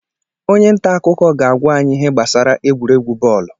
Onye nta akụkọ ga-agwa anyị ihe gbasara egwuregwu bọọlụ